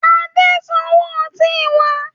Adé ń sanwó ọtí wá.